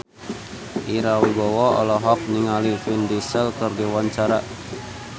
Ira Wibowo olohok ningali Vin Diesel keur diwawancara